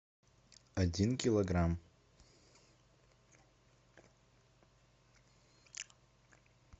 один килограмм